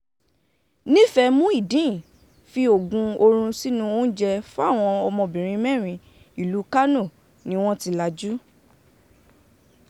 nífẹ̀ẹ́ muideen fi oògùn oorun sínú oúnjẹ fáwọn ọmọbìnrin mẹ́rin ìlú kánò ni wọ́n ti lajú